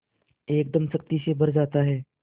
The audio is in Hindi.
एकदम शक्ति से भर जाता है